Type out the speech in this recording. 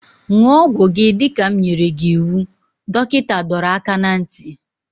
Ṅụọ ọgwụ gị dịka m nyere gị iwu! Dọkịta dọrọ aka ná ntị